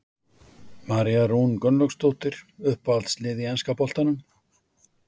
María Rún Gunnlaugsdóttir Uppáhalds lið í enska boltanum?